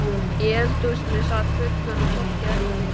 Í eldhúsinu sat fullorðna fólkið eftir.